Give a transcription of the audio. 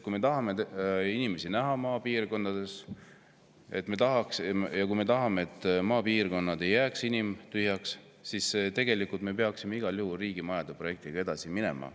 Kui me tahame inimesi näha ka maapiirkondades, kui me tahame, et maapiirkonnad ei jääks inimtühjaks, siis me peaksime igal juhul riigimajade projektiga edasi minema.